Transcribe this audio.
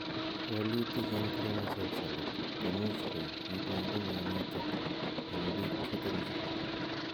Walutik en chromosomes alak komuch koik kiit neibu myonitok en biik chuton chu